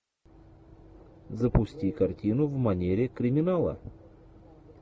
запусти картину в манере криминала